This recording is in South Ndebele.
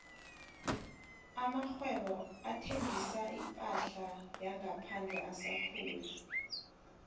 amakghwebo athengisa iphahla yangaphandle asakhula